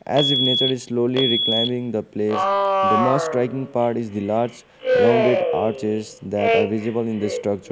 as if nature is slowly reclining the place the most striking part is the large rounded arch is that are visible in the structure.